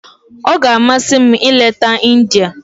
Ọ ga-amasị m ileta India.